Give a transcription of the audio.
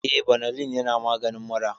Eh, banalin yana maganin mura